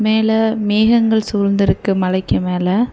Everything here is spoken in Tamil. மேல மேகங்கள் சூழ்ந்திருக்கு மலைக்கு மேல.